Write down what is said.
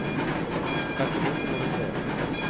Tack och lov får man väl säga.